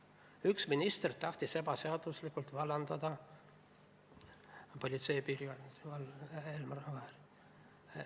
Üks minister tahtis ebaseaduslikult vallandada Politsei- ja Piirivalveameti peadirektorit Elmar Vaherit.